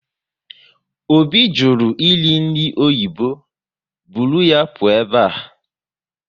Obi jụrụ eri nri oyibo, buru ya pụọ ebe a!